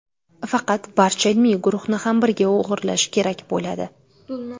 Faqat barcha ilmiy guruhni ham birga o‘g‘irlash kerak bo‘ladi.